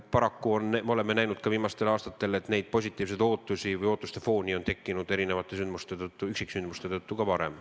Paraku oleme viimastel aastatel näinud ka seda, et neid positiivseid ootusi või sellist ootuste fooni on tekkinud erinevate üksiksündmuste tõttu ka varem.